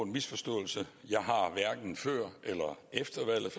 misforståelse jeg har hverken før eller efter valget